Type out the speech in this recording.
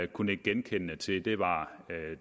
kunne nikke genkendende til var